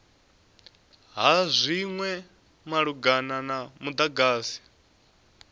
ha zwinwe malugana na mudagasi